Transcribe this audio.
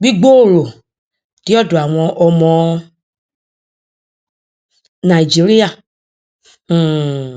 gbígbòòrò dé ọdọ àwọn ọmọ nàìjíríà um